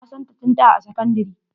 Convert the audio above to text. Na santa tun da a sakandire.